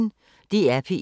DR P1